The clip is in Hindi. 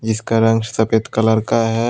इसका रंग सफेद कलर का है।